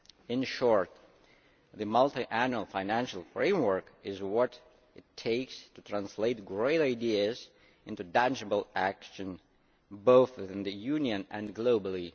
In short, the Multiannual Financial Framework is what it takes to translate great ideas into tangible action both within the Union and globally.